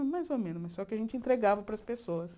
Era mais ou menos, mas só que a gente entregava para as pessoas.